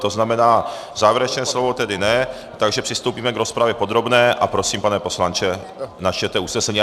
To znamená, závěrečné slovo tedy ne, takže přistoupíme k rozpravě podrobné a prosím, pane poslanče, načtěte usnesení.